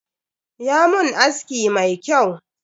Ya mun aski mai kyau.